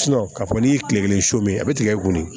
k'a fɔ n'i ye tile kelen su min a bɛ tigɛ ko nin